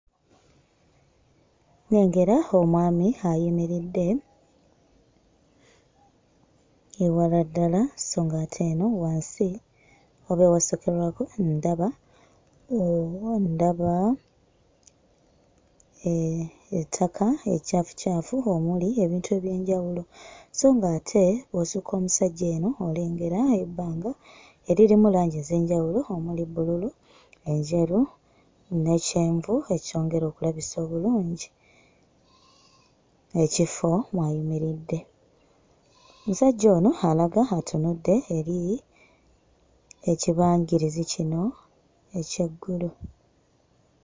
Nnengera omwami ayimiridde ewala ddala so ng'ate eno wansi oba ewasookerwako ndaba ndaba ettaka eccaafucaafu omuli ebintu eby'enjawulo so ng'ate bw'osukka omusajja eno olengera ebbanga eririmu langi ez'enjawulo omuli bbululu, enjeru ne kyenvu, ekyongera okulabisa obulungi ekifo mw'ayimiridde. Omusajja ono alaga atunudde eri ekibangirizi kino eky'eggulu.